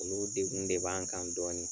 Olu degun de b'an kan dɔɔni.